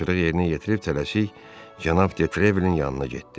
Tapşırıq yerinə yetirib tələsik cənab de Treville-in yanına getdi.